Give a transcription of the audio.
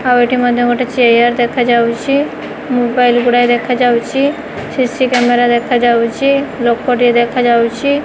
ଆଉ ଏଠି ମଧ୍ୟ ଗୋଟେ ଚେୟାର ଦେଖାଯାଉଛି ମୋବାଇଲ ଗୁଡ଼ାଏ ଦେଖାଯାଉଛି ସିସି କ୍ୟାମେରା ଦେଖାଯାଉଛି ଲୋକଟି ଦେଖାଯାଉଛି।